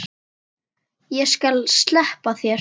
Og ég skal sleppa þér!